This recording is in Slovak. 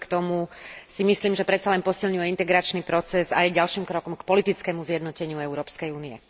Napriek tomu si myslím, že predsa len posilňuje integračný proces a je ďalším krokom k politickému zjednoteniu Európskej únie.